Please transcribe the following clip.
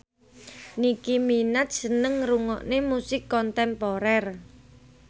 Nicky Minaj seneng ngrungokne musik kontemporer